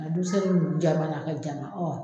A dusɛn nunnu jama na ka jama